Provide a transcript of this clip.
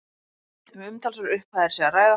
Um umtalsverðar upphæðir sé að ræða